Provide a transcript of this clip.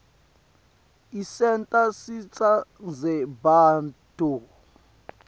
isenta sitsandze bantfu